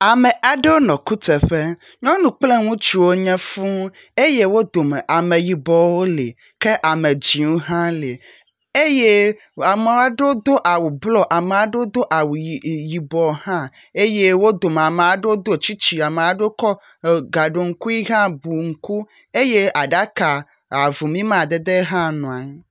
Ame aɖewo nɔ kuteƒe, nyɔnu kple ŋutsu wonye fũu eye wo dome ameyibɔwo li kea me dzɛ̃wo hã li eye ame aɖewo do awu blɔ eye ame aɖewo do awu y.. yibɔ hã eye wo dome ame aɖewo do tsitsi ame aɖewo kɔ gaɖɔŋkui hã bu ŋku eye aɖaka avumi amadede hã nɔ anyi.